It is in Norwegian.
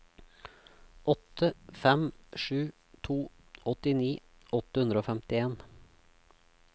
åtte fem sju to åttini åtte hundre og femtien